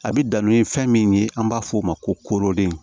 A bi danni fɛn min ye an b'a f'o ma ko koorode